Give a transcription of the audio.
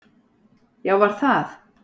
Já var það?